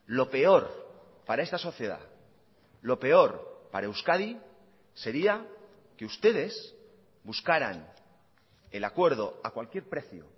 lo peor para esta sociedad lo peor para euskadi sería que ustedes buscaran el acuerdo a cualquier precio